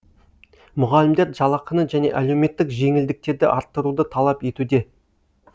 мұғалімдер жалақыны және әлеуметтік жеңілдіктерді арттыруды талап етуде